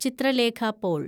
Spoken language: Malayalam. ചിത്രലേഖ പോൾ